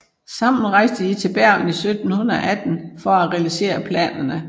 Sammen rejste de til Bergen i 1718 for at realisere planerne